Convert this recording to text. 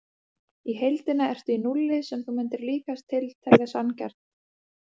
Í heildina ertu í núlli sem þú mundir líkast til telja sanngjarnt.